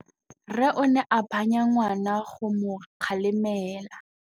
Rre o ne a phanya ngwana go mo galemela.